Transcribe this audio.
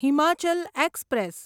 Himachal express